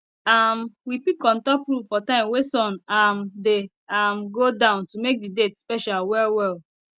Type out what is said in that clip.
um we pick on top roof for time wey sun um dey um go down to make d date special well well